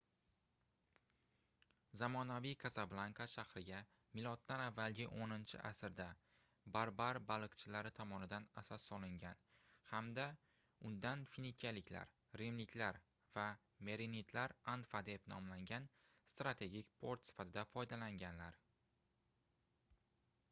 zamonaviy kasablanka shahriga m.a. 10-asrda barbar baliqchilari tomonidan asos solingan hamda undan finikiyaliklar rimliklar va merenidlar anfa deb nomlangan strategik port sifatida foydalanganlar